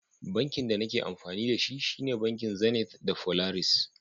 Bankin da nake amfani da shi, shine bankin Zenith da Polaris.